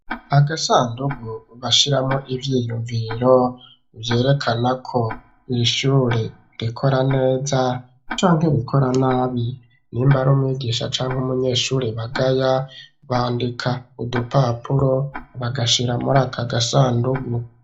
Agasandugu, bashiramwo ivyiyumviro, vyerekana ko, iri shure rikora neza, canke rikora nabi; nimba ari umwigisha, canke umunyeshure, bagaya; bandika udupapuro, bagashira, muri aka gasandugu.